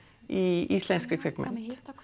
í íslenskri kvikmynd